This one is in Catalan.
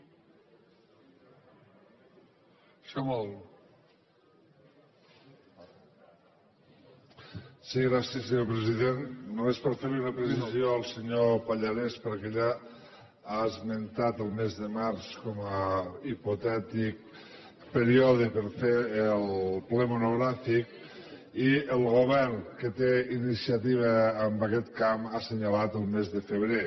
sí gràcies senyor president només per fer li una precisió al senyor pallarès perquè ell ha esmentat el mes de març com a hipotètic període per fer el ple monogràfic i el govern que té iniciativa en aquest camp ha assenyalat el mes de febrer